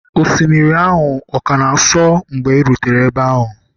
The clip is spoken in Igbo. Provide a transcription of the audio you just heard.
osimiri ahụ ọ ka na-asọ mgbe ị rutere ebe ahụ?